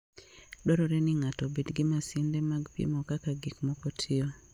Dwarore ni ng'ato obed gi masinde mag pimo kaka gik moko tiyo.